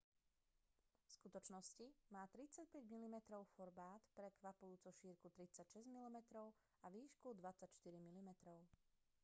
v skutočnosti má 35 mm formát prekvapujúco šírku 36 mm a výšku 24 mm